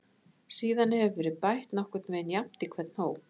Síðan hefur verið bætt nokkurn veginn jafnt í hvern hóp.